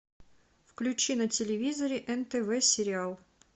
включи на телевизоре нтв сериал